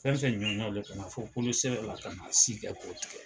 Fɛn fɛn ɲɔgɔnw de ka fɔ kolo sera la ka na si kɛ k'o tigɛ.